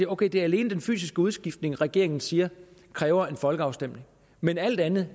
ok det er alene den fysiske udskiftning som regeringen siger kræver en folkeafstemning men alt andet